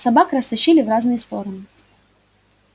собак растащили в разные стороны